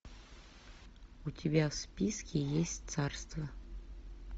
у тебя в списке есть царство